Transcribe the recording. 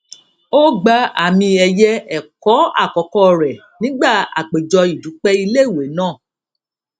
ó gba àmì ẹyẹ ẹkọ àkọkọ rẹ nígbà àpéjọ ìdúpẹ ilé ìwé náà